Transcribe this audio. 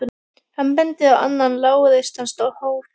Hann bendir á annan lágreistan hól.